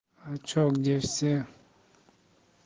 а что где все